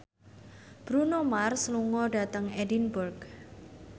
Bruno Mars lunga dhateng Edinburgh